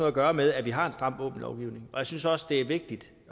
at gøre med at vi har en stram våbenlovgivning og jeg synes også at det er vigtigt